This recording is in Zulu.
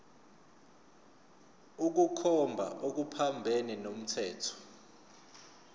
ukukhomba okuphambene nomthetho